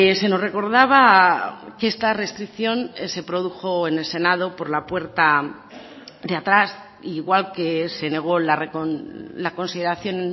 se nos recordaba que esta restricción se produjo en el senado por la puerta de atrás igual que se negó la consideración